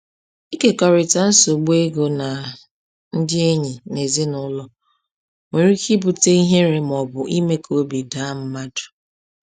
Ịkekọrịta nsogbu ego na ndị enyi na ezinụlọ nwere ike ibute ihere ma ọ bụ ime ka obi daa mmadụ.